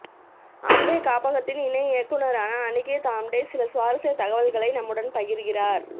ஆம்டே காப்பகத்தின் இணை இயக்குனரான அனிகேத் ஆம்டே சில சுவாரஸ்ய தகவல்களை நம்முடன் பகிர்கிறார்